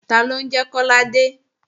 Taló ń jẹ́ Kọ́ládé?